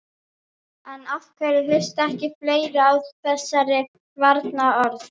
En af hverju hlusta ekki fleiri á þessari varnarorð?